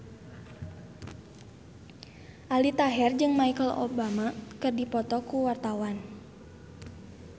Aldi Taher jeung Michelle Obama keur dipoto ku wartawan